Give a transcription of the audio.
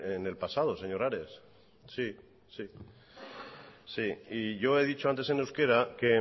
en el pasado señor ares yo he dicho antes en euskera que